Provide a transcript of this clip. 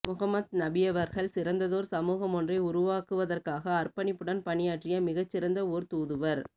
முஹம்மத் நபியவர்கள் சிறந்ததோர் சமூகமொன்றை உருவாக்குவதற்காக அர்ப்பணிப்புடன் பணியாற்றிய மிகச் சிறந்த ஓர் தூதுவர்